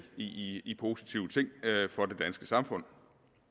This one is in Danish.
i i positive ting for det danske samfund